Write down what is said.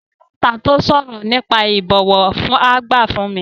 Sọ òwe mẹ́ta tó sọ̀rọ̀ nípa ìbọ̀wọ̀ fágbà fún mi.